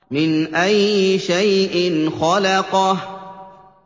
مِنْ أَيِّ شَيْءٍ خَلَقَهُ